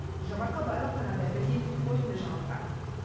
гүлжан марқабаева қанат әбілдин қорытынды жаңалықтар